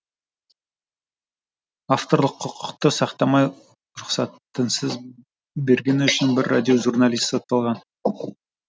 авторлық құқықты сақтамай рұқсатынсыз бергені үшін бір радиожурналист сотталған